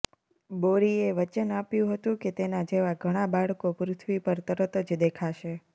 બોરીએ વચન આપ્યું હતું કે તેના જેવા ઘણાં બાળકો પૃથ્વી પર તરત જ દેખાશે